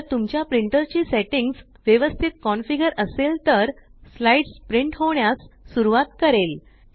जर तुमच्या प्रिंटर ची सेट्टिंग्स व्यवस्तीत कन्फिगर असेल तर स्लाइड्स प्रिंट होण्यास सुरवात करेल